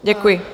Děkuji.